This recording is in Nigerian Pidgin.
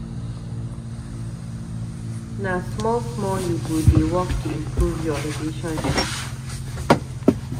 Na small-small you go dey work to improve your relationship.